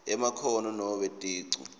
emakhono nobe ticu